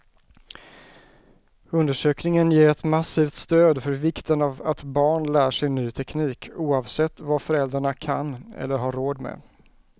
Undersökningen ger ett massivt stöd för vikten av att barn lär sig ny teknik, oavsett vad föräldrarna kan eller har råd med.